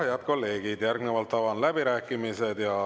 Aga, head kolleegid, järgnevalt avan läbirääkimised.